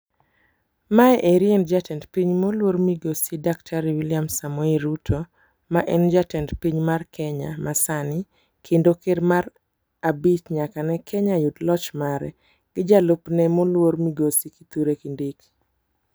Ma eri en jatend piny moluor migosi daktar Wiliam Samoei Ruto ma en jatend piny mar Kenya masani kendo ker mar abich nyaka ne Kenya yud lo ch mare. Gi jalupne moluor Kithure Kindiki.